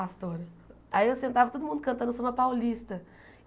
Pastora Aí eu sentava todo mundo cantando samba paulista.